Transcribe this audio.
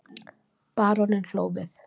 Baróninn hló við.